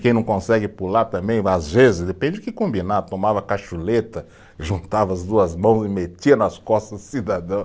Quem não consegue pular também, às vezes, depende do que combinar, tomava cachuleta, juntava as duas mãos e metia nas costas do cidadão.